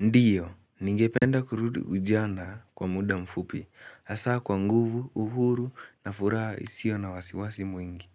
Ndiyo, ningependa kurudi ujana kwa muda mfupi, hasa kwa nguvu, uhuru, na furaha isiyo na wasiwasi mwingi.